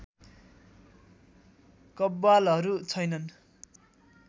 कव्वालहरू छैनन्